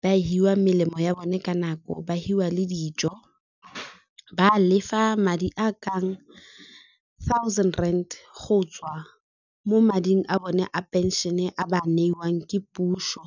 ba a hiwa melemo ya bone ka nako, ba hiwa le dijo, ba lefa madi a kang thousand rand go tswa mo mading a bone a pension a ba wa neiwang ke puso.